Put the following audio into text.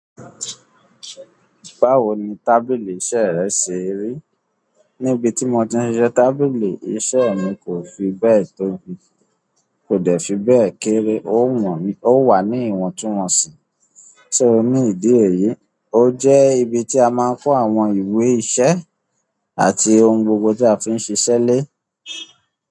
Báwo ni tábìlì iṣẹ́ rẹ ṣe rí? Níbi tí mo ti ń siṣe tábìlì iṣẹ́ mi kò fi bẹ́ẹ̀ tóbi, kò dẹ̀ fi bẹ́ẹ̀ kéré, ó wà ní ìwọ̀ntúnwọ̀nsì. Só ní ìdí èyí, ó jẹ́ ibi tí a máa ń kó àwọn ìwé iṣẹ́ àti ohun gbogbo tí a fi ń ṣiṣẹ́ lé.